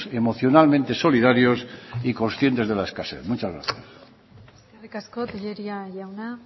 emocionalmente solidarios y conscientes de la escasez muchas gracias eskerrik asko telleria jauna